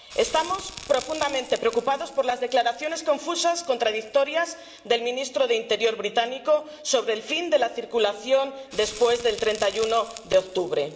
Estamos profundamente preocupados por las declaraciones confusas, contradictorias, del ministro del Interior británico sobre el fin de la circulación después del 31 de octubre.